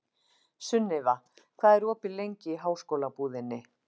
Sunniva, hvað er opið lengi í Háskólabúðinni?